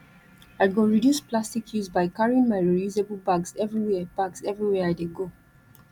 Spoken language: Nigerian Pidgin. i go reduce plastic use by carrying my reusable bags everywhere bags everywhere i dey go